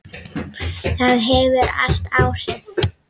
Það hefur allt áhrif.